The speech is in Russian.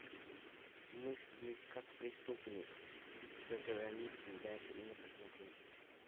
мыслить как преступник за границей дай мне посмотреть